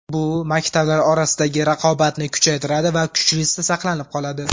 Bu maktablar orasidagi raqobatni kuchaytiradi va kuchlisi saqlanib qoladi”.